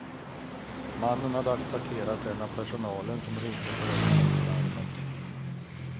Mannen hade attackerat en av personalen, som ringde på överfallslarmet.